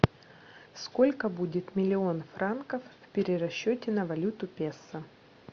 сколько будет миллион франков в перерасчете на валюту песо